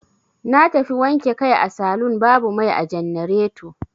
Na tafi wanke kai a salun babu mai a jannareto.